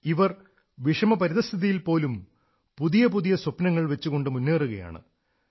ഇവർ വിഷമപരിതഃസ്ഥിതയിൽ പോലും പുതിയ പുതിയ സ്വപ്നങ്ങൾ വച്ചുകൊണ്ട് മുന്നേറുകയാണ്